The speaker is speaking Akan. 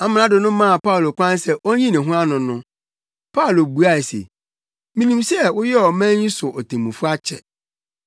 Amrado no maa Paulo kwan sɛ onyi ne ho ano no, Paulo buae se, “Minim sɛ woyɛɛ ɔman yi so otemmufo akyɛ,